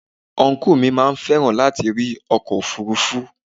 Ọnkú mi máa fẹ́ràn láti rí ọkọ̀ òfuurufú.